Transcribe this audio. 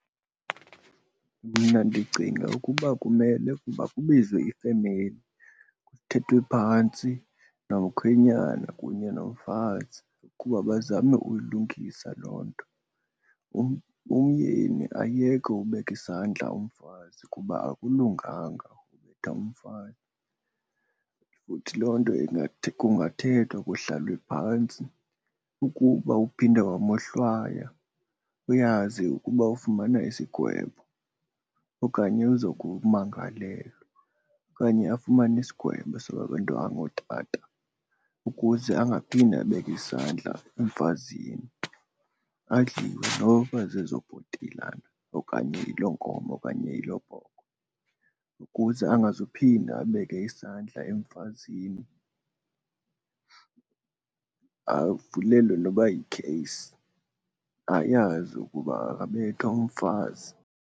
Mna ndicinga ukuba kumele ukuba kubizwe ifemeli kuthethwe phantsi nomkhwenyana kunye nomfazi ukuba bazame uyilungisa loo nto. Umyeni ayeke ubeka isandla umfazi kuba akulunganga ubetha umfazi. Futhi loo nto kungathethwa kuhlalwe phantsi, ukuba uphinde wamohlwaya uyazi ukuba ufumana isigwebo okanye uzokumangalelwa okanye afumane isigwebo sababantu abangootata ukuze angaphinde abeke isandla emfazini. Adliwe noba zezo bhotilana okanye yiloo nkomo okanye yiloo bhokhwe ukuze angazuphinda abeke isandla emfazini. Avulelwe noba yikheyisi, ayazi ukuba akabethwa umfazi.